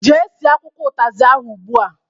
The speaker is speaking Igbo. Jee sie akwụkwọ utazi ahụ ụgbụa!